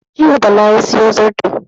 Jiya Bala ya sayo zarto